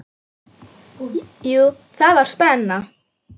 Jú, það var spenna.